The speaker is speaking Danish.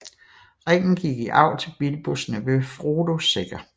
Ringen gik i arv til Bilbos nevø Frodo Sækker